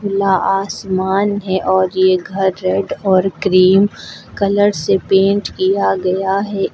खुला आसमान है और ये घर रेड और क्रीम कलर से पेंट किया गया है।